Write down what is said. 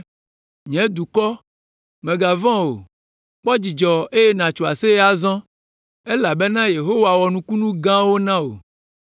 Nye dukɔ, mègavɔ̃ o; kpɔ dzidzɔ eye nàtso aseye azɔ elabena Yehowa wɔ nukunu gãwo na wò.